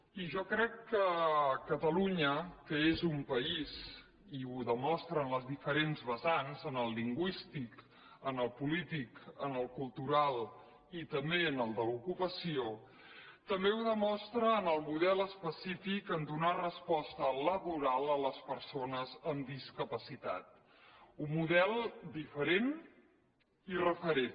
i jo crec que catalunya que és un país i ho demostra en els diferents vessants en el lingüístic en el polític en el cultural i també en el de l’ocupació també ho demostra en el model específic de donar resposta laboral a les persones amb discapacitat un model diferent i referent